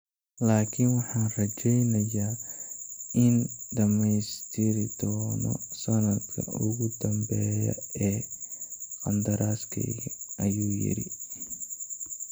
laakiin waxaan rajaynayaa in aan dhamaystiri doono sanadka ugu dambeeya ee qandaraaskayga,” ayuu yidhi.